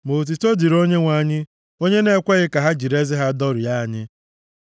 Ma otuto dịrị Onyenwe anyị, onye na-ekweghị ka ha jiri eze ha dọrie anyị.